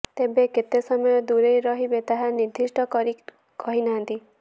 ତେବେ କେତେ ସମୟ ଦୂରେଇ ରହିବେ ତାହା ନିର୍ଦ୍ଦିଷ୍ଟ କରି କହିନାହାନ୍ତି